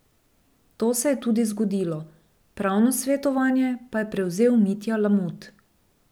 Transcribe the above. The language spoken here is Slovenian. To se je tudi zgodilo, pravno svetovanje pa je prevzel Mitja Lamut.